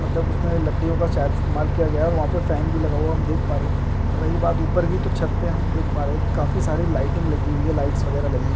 मतलब उसमें लकड़ियों का शायद इस्तेमाल किया गया है और वहा पे फैन भी लगा हुआ है मैं और हम देख पा रहे है और रही बात ऊपर की तो छत पे हम देख पा रहे है की काफी सारी लाइटिंग लगी हुई है मैं और लाइट्स वगेरा लगी है।